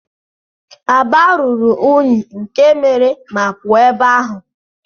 Aba ruru unyi nke mere ma puo ebe ahu.